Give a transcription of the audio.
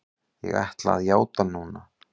Ég ætla að játa núna.